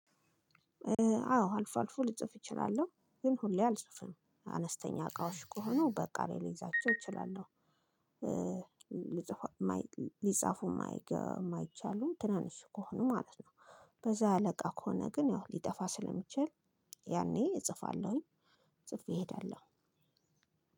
አዎ አልፎ አልፎ ልጽፍ እችላለሁ። ግን ሁሌ አልጽፍም። አነስተኛ አቃዎች ከሆነው በቃሌ ልይዛቸው ይችላሉ። ሊጻፉ የማይችሉ ትናንሽ ከሆኑ ማለት ነው። በዛ ያለ እቃ ከሆነ ግን ያው ሊጠፋ ስለሚችል ያኔ እጽፋለሁኝ ጽፌ እሄዳለሁ።